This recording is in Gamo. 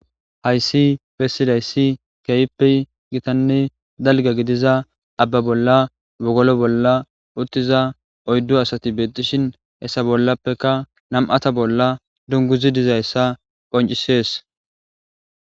Hayssi bessizayssi keehippe gitanne dalgga gidiza aabba bolla wogolo bolla uuttiza oyddu asati bettishin hessa bollappekka nam'atta bolla dunguzi dizayssa qonccises